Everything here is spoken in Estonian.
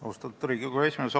Austatud Riigikogu esimees!